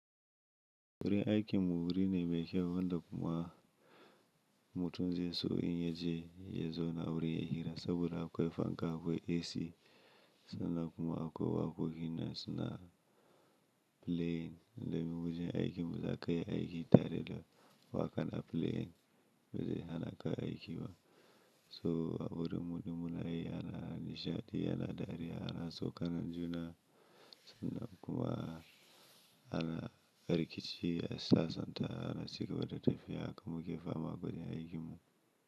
Wurin aikin mu wuri ne mai kyau, wanda kuma mutum zai so in yaje yazau na a wuri yayi hira saboda akoi fanka akoi AC, sannan kuma akoi waƙoƙi nan suna playing. Nemi wojen aikin da zaka iya aiki tare da waƙa na playing, bazai hana ka aiki ba. So wurin muɗin muna yi ana nishaɗi, ana dariya, ana saukanan juna, sannan kuma ana rikici a sassanta, ana cigaba da tafiya haka kuma muke fama gurin aikinmu.